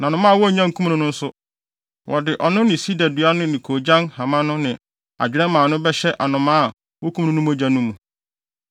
Na anomaa a wonnya nkum no no nso, wɔde ɔno ne sida dua no ne koogyan hama no ne adwerɛ mman no bɛhyɛ anomaa a wokum no no mogya no mu.